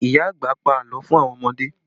Ìyá àgbà pa àlọ́ fún àwọn ọmọdé